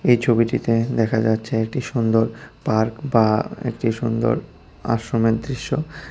এই ছবিটিতে দেখা যাচ্ছে একটি সুন্দর পার্ক বা একটি সুন্দর আশ্রমের দৃশ্য।